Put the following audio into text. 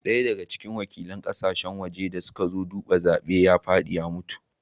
Daya daga cikin wakilan kasashen waje da suka zo duba zaben ya fadi ya mutu